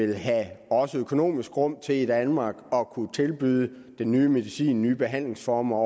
vil have økonomisk rum til i danmark at kunne tilbyde den nye medicin de nye behandlingsformer